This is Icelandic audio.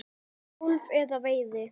golfi eða veiði.